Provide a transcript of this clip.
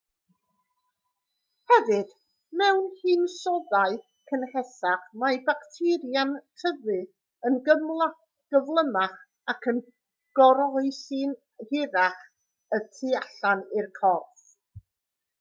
hefyd mewn hinsoddau cynhesach mae bacteria'n tyfu yn gyflymach ac yn goroesi'n hirach y tu allan i'r corff